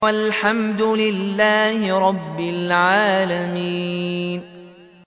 وَالْحَمْدُ لِلَّهِ رَبِّ الْعَالَمِينَ